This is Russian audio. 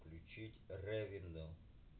включить ривенделл